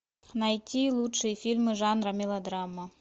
найти лучшие фильмы жанра мелодрама